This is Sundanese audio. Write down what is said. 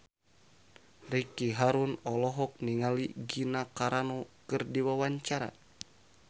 Ricky Harun olohok ningali Gina Carano keur diwawancara